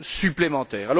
supplémentaire.